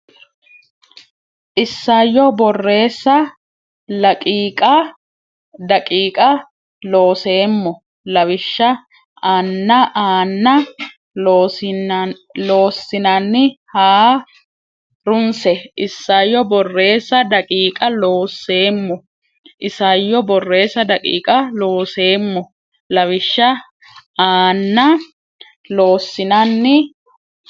Isayyo Borreessa daqiiqa Looseemmo lawishsha aanna Loossinanni ha runse Isayyo Borreessa daqiiqa Looseemmo Isayyo Borreessa daqiiqa Looseemmo lawishsha aanna Loossinanni.